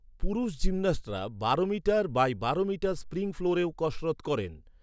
পুরুষ জিমন্যাস্টরা বারো মিটার বাই বারো মিটার স্প্রিং ফ্লোরেও কসরত করেন।